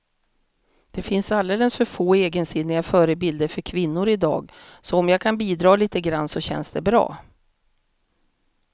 Det finns alldeles för få egensinniga förebilder för kvinnor i dag, så om jag kan bidra lite grann så känns det bra.